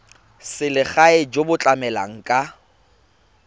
selegae jo bo tlamelang ka